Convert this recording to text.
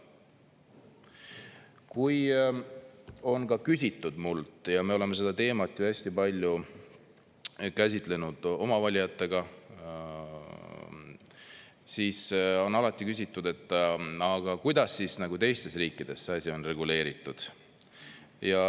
Kui on minult küsitud – ja me oleme seda teemat ju hästi palju käsitlenud oma valijatega –, siis on alati küsitud, aga kuidas siis teistes riikides see asi on reguleeritud.